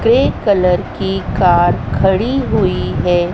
Green colour की car खड़ी हुई हैं।